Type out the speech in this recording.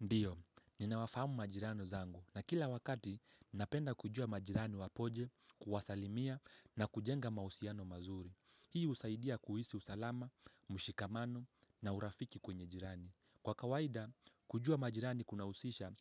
Ndiyo, ninawafahamu majirani zangu na kila wakati napenda kujua majirani wapoje, kuwasalimia na kujenga mahusiano mazuri. Hii husaidia kuhisi usalama, mshikamano na urafiki kwenye jirani. Kwa kawaida, kujua majirani kunahusisha,